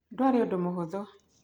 Ndũarĩ ũndũ mũhũthũ.